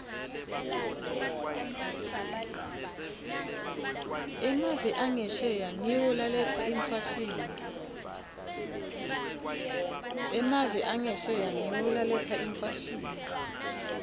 emave angesheya ngiwo laletsa imfashini